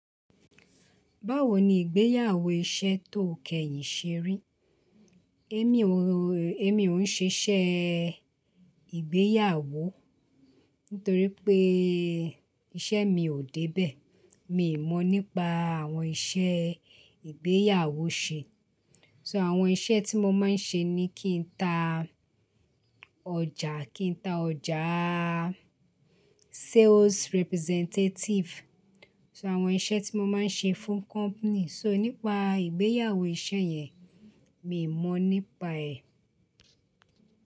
Báwo ni ìgbéyàwó iṣẹ́ tó kẹ́yìn ṣe rí? Émi ò, émi ò ń ṣiṣẹ́ ìgbéyàwó torí pé iṣẹ́ mi ò débẹ̀. Mi ò mọ̀ nípa àwọn iṣẹ́ ìgbéyàwó ṣe. So àwọn iṣẹ́ tí mo máa ń ṣe ni kí n ta ọjà, kí n ta ọjà, sales representative. So àwọn iṣẹ́ tí mo máa ń ṣe fún company. So nípa ìgbéyàwó iṣẹ́ yẹn, mi ò mọ̀ nípa ẹ̀